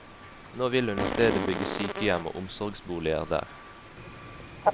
Nå vil hun i stedet bygge sykehjem og omsorgsboliger der.